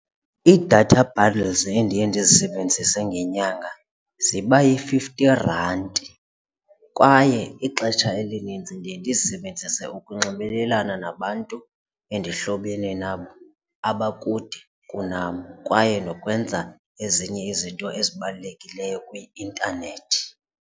Iidata bundles endiye ndizisebenzise ngenyanga ziba yi-fifty rand kwaye ixesha elininzi ndiye ndizisebenzise ukunxibelelana nabantu endihlobene nabo abakude kunam kwaye nokwenza ezinye izinto ezibalulekileyo kwi-intanethi.